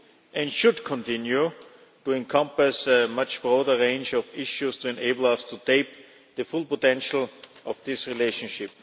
and should continue to encompass a much broader range of issues to enable us to tap the full potential of this relationship.